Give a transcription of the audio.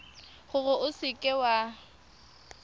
gore o seka w a